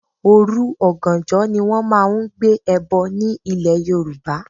Òru oganjo ni wón máa ń gbé ẹbọ ní ilè Yorùbá.